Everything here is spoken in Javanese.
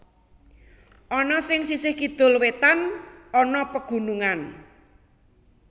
Ana sing sisih kidul wetan ana pegunungan